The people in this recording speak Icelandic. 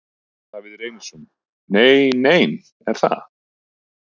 Davíð Reynisson: Nei nein, er það?